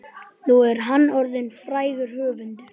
Nú er hann orðinn frægur höfundur.